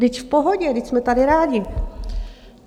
Vždyť v pohodě, vždyť jsme tady rádi.